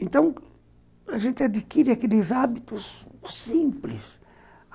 Então, a gente adquire aqueles hábitos simples.